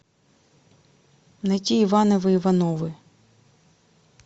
найти ивановы ивановы